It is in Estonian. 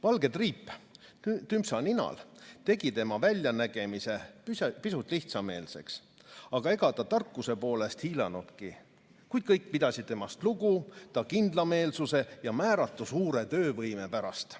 "Valge triip Tümpsa ninal tegi tema väljanägemise pisut lihtsameelseks ja ega ta tarkuse poolest hiilanudki, kuid kõik pidasid temast lugu ta kindlameelsuse ja määratu suure töövõime pärast.